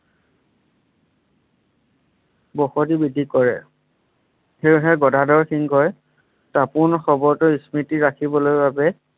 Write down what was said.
বসতি বৃদ্ধি কৰে সেইয়েহে গদাধৰ সিংহই তাপোন খবৰটোৰ স্মৃতি ৰাখিবলৈ বাবে